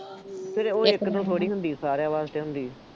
ਫੇਰ ਉਹ ਇੱਕ ਤੋਂ ਥੋੜ੍ਹੀ ਹੁੰਦੀ, ਸਾਰਿਆਂ ਵਾਸਤੇ ਹੁੰਦੀ ਹੈ।